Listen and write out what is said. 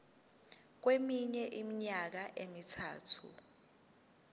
kweminye iminyaka emithathu